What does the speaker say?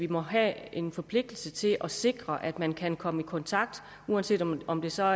må have en forpligtelse til at sikre at man kan komme i kontakt uanset om om det så